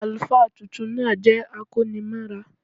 Àlùfáà tuntun náà jẹ́ akónimọ́ra